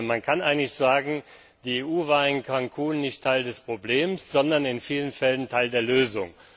Man kann eigentlich sagen, die EU war in Cancún nicht Teil des Problems, sondern in vielen Fällen Teil der Lösung.